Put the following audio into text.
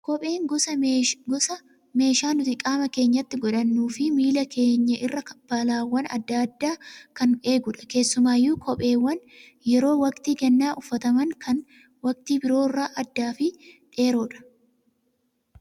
Kopheen gosa meeshaa nuti qaama keenyatti godhannuu fi miila keenya irraa balaawwan gosa adda addaa kan eegudha. Keessumaayyuu kopheewwan yeroo waqtii gannaa uffataman kan waqtii biroo irraa addaa fi dheeroodha.